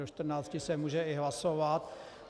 Do 14.00 se může i hlasovat.